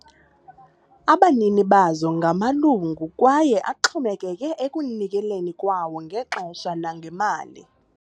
Abanini bazo ngamalungu kwaye axhomekeke ekunikeleni kwawo ngexesha nangemali.